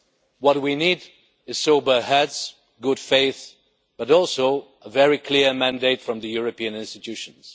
What we need is sober heads, good faith, but also a very clear mandate from the European institutions.